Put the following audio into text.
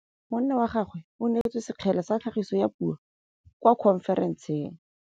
Monna wa gagwe o neetswe sekgele sa tlhagisô ya puo kwa khonferenseng.